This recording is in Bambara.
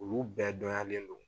Olu bɛɛ dɔnyalen don.